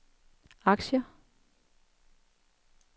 aktier